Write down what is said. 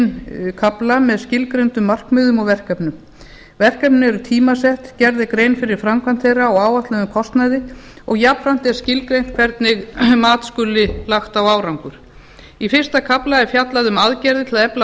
þrjá meginkafla með skilgreindum markmiðum og verkefnum verkefni eru tímasett gerð er grein fyrir framkvæmd þeirra og áætluðum kostnaði og jafnframt er skilgreint hvernig mat skuli lagt á árangur í fyrsta kafla er fjallað um aðgerðir til að efla